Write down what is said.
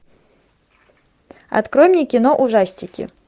открой мне кино ужастики